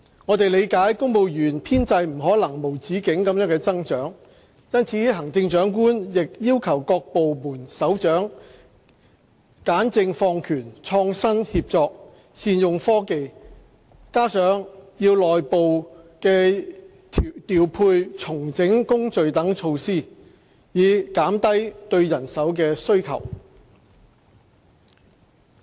我們理解公務員編制不可能無止境地增長，因此，行政長官亦要求各部門首長簡政放權、創新協作、善用科技，加上內部調配、重整工序等措施，以減低對人手的需求。